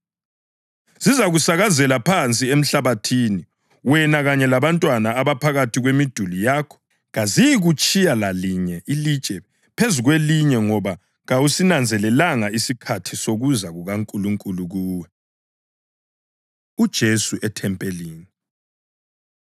Zizakusakazela phansi emhlabathini, wena kanye labantwana abaphakathi kwemiduli yakho. Kaziyikutshiya lalinye ilitshe phezu kwelinye ngoba kawusinanzelelanga isikhathi sokuza kukaNkulunkulu kuwe.” UJesu EThempelini